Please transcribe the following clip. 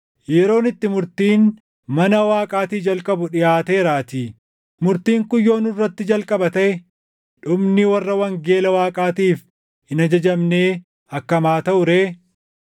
Yeroon itti murtiin mana Waaqaatii jalqabu dhiʼaateeraatii; murtiin kun yoo nurratti jalqaba taʼe dhumni warra wangeela Waaqaatiif hin ajajamnee akkam haa taʼu ree?